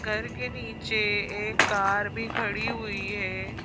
घर के नीचे एक कार भी खड़ी हुई है।